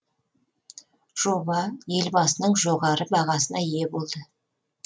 жоба елбасының жоғары бағасына ие болды